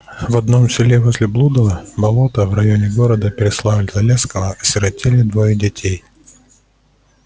в одном селе возле блудова болота в районе города переславль-залесского осиротели двое детей